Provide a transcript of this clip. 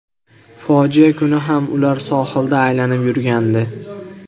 Fojia kuni ham ular sohilda aylanib yurgandi.